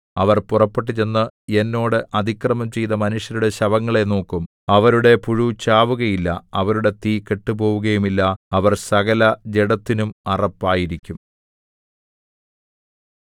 അവർ പുറപ്പെട്ടു ചെന്ന് എന്നോട് അതിക്രമം ചെയ്ത മനുഷ്യരുടെ ശവങ്ങളെ നോക്കും അവരുടെ പുഴു ചാവുകയില്ല അവരുടെ തീ കെട്ടുപോകുകയില്ല അവർ സകലജഡത്തിനും അറപ്പായിരിക്കും